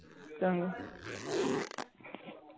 ਚਲ